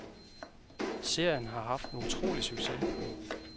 Serien har haft en utrolig succes.